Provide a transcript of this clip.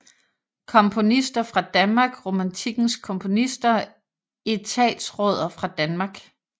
Komponister fra Danmark Romantikkens komponister Etatsråder fra Danmark